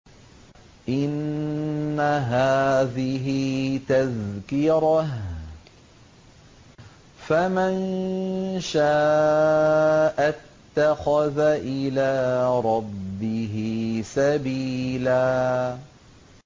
إِنَّ هَٰذِهِ تَذْكِرَةٌ ۖ فَمَن شَاءَ اتَّخَذَ إِلَىٰ رَبِّهِ سَبِيلًا